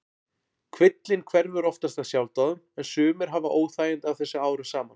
Kvillinn hverfur oftast af sjálfsdáðum en sumir hafa óþægindi af þessu árum saman.